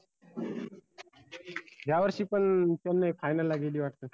या वर्षी पन चेन्नई final ला गेली वाटते?